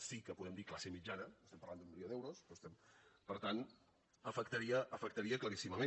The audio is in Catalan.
sí que podem dir classe mitjana estem parlant d’un milió d’euros per tant afectaria claríssimament